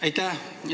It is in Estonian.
Aitäh!